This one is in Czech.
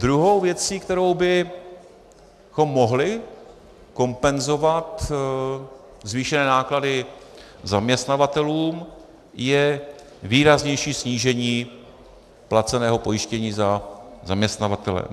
Druhou věcí, kterou bychom mohli kompenzovat zvýšené náklady zaměstnavatelům, je výraznější snížení placeného pojištění za zaměstnavatele.